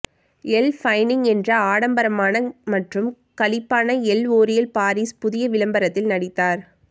L ஃபைனிங் என்ற ஆடம்பரமான மற்றும் களிப்பான எல் ஓரியல் பாரிஸ் புதிய விளம்பரத்தில் நடித்தார்